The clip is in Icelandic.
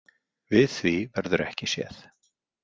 Við því verður ekki séð.